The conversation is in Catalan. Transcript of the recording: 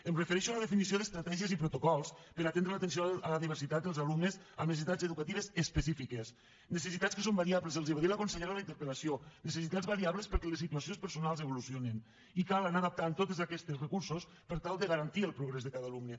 em refereixo a la definició d’estratègies i protocols per atendre l’atenció a la diversitat dels alumnes amb necessitats educatives específiques necessitats que són variables els ho va dir la consellera en la interpel·lació necessitats variables perquè les situacions personals evolucionen i cal anar adaptant a totes aquestes recursos per tal de garantir el progrés de cada alumne